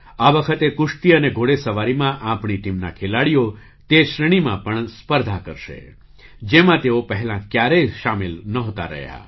આ વખતે કુશ્તી અને ઘોડેસવારીમાં આપણી ટીમના ખેલાડીઓ તે શ્રેણીમાં પણ સ્પર્ધા કરશે જેમાં તેઓ પહેલાં ક્યારેય સામેલ નહોતા રહ્યા